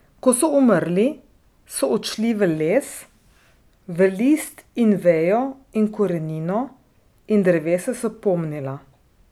Ko so umrli, so odšli v les, v list in vejo in korenino, in drevesa so pomnila.